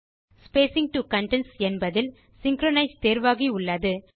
spacing to contents என்பதில் synchronise தேர்வாகி உள்ளது